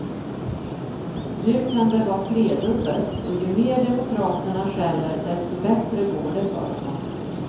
Nu kan det vara tredubbelt, och ju mer demokraterna skäller desto bättre går det för honom.